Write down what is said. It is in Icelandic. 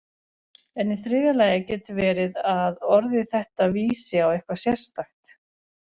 En í þriðja lagi getur verið að orðið þetta vísi á eitthvað sérstakt.